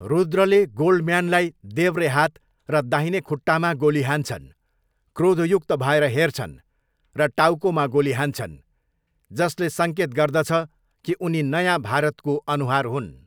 रुद्रले गोल्डम्यानलाई देब्रे हात र दाहिने खुट्टामा गोली हान्छन्, क्रोधयुक्त भएर हेर्छन् र टाउकोमा गोली हान्छन्, जसले सङ्केत गर्दछ कि उनी 'नयाँ भारत' को अनुहार हुन्।